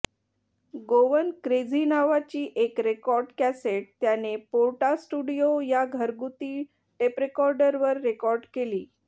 Goan crazy नावाची एक record cassette त्याने पोर्टास्टुडिओ या घरगुती टेपरेकॉर्डरवर रेकॉर्ड केली